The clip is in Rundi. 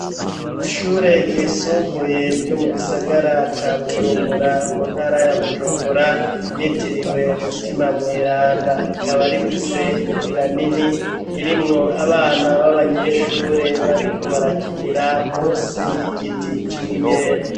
Ishure ryisumbuye ryo mu gisagara ca Bujumbura mu ntara ya Bujumbura ryitiriwe Mutima Mweranda rikaba rifise imbuga nini irimwo abana b'abanyeshure bariko barakinira munsi y'igiti c'imyembe